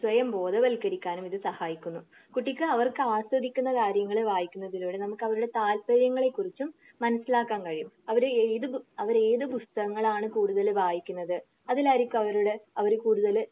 സ്വയം ബോധവൽക്കരിക്കാനും ഇത് സഹായിക്കുന്നു. കുട്ടിക്ക് അവർക്ക് ആസ്വദിക്കുന്ന കാര്യങ്ങൾ വായിക്കുന്നതിലൂടെ നമുക്ക് അവരുടെ താൽപ്പര്യങ്ങൾ കൂട്ടും. മനസ്സിലാക്കാൻ കഴിയും. അവര് ഏത് അവര് ഏത് പുസ്തകങ്ങളാണ് കൂടുതൽ വായിക്കുന്നത് അതിലായിരിക്കും അവരുടെ അവര് കൂടുതൽ